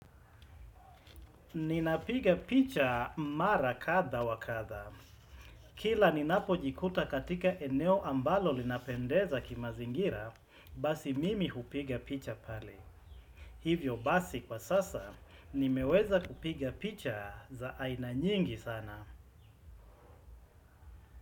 Ninapiga picha mara katha wa katha. Kila ninapojikuta katika eneo ambalo linapendeza kimazingira, basi mimi hupiga picha pale. Hivyo basi kwa sasa, nimeweza kupiga picha za aina nyingi sana.